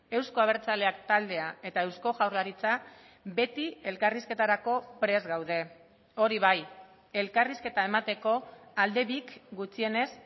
euzko abertzaleak taldea eta eusko jaurlaritza beti elkarrizketarako prest gaude hori bai elkarrizketa emateko alde bik gutxienez